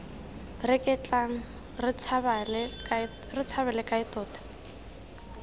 reketlang re tshabale kae tota